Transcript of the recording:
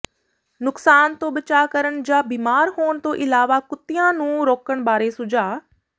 ਨੁਕਸਾਨ ਤੋਂ ਬਚਾਅ ਕਰਨ ਜਾਂ ਬੀਮਾਰ ਹੋਣ ਤੋਂ ਇਲਾਵਾ ਕੁੱਤਿਆਂ ਨੂੰ ਰੋਕਣ ਬਾਰੇ ਸੁਝਾਅ